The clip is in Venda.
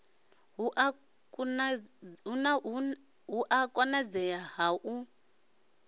hu a konadzea ga u